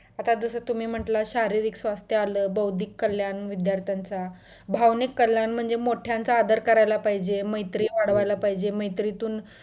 आता जसा तुम्ही म्हटलं शारीरिक स्वास्थ्य आलं, बौद्धिक कल्याण विद्यार्थ्यांचं, बौद्धिक कल्याण म्हणजे मोठ्यांचा आदर करायला पाहिजे, मैयत्री वाढवायला पाहिजे, मैत्रीतून